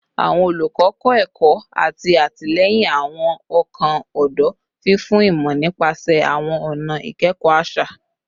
Awọn olukọ kọ ẹkọ ati atilẹyin awọn ọkan ọdọ, fifun imọ nipasẹ awọn ọna ikẹkọ aṣa